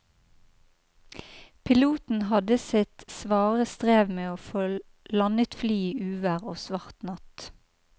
Piloten hadde sitt svare strev med å få landet flyet i uvær og svart natt.